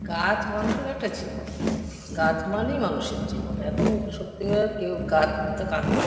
গাছ মানুষের একটা জীবন। গাছ মানেই মানুষের জীবন। এখন সত্যিকারের কেউ গাছ তো কাটে ।